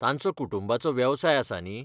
तांचो कुटुंबाचो वेवसाय आसा न्ही?